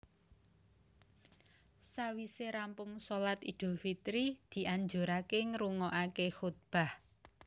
Sawisé rampung shalat Idul Fitri dianjuraké ngrungokaké kutbah